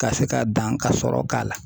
Ka se ka dan ka sɔrɔ k'a la